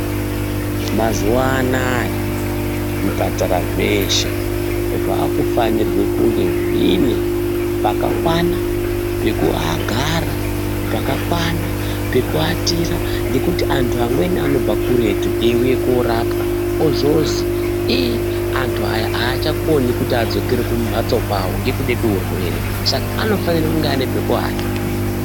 Mazuwa anaya zviparara zveshe zvakufanirwe kunge zvine pakakwana pekuagara pakakwana pekuatira ngekuti antu amweni anobva kuretu eiuye korapwa ozozi ii antu aya aacgakoni kuti adzokere kumhatso kwawo ngekude kweurwere saka anofanire kunge ane pekuwata.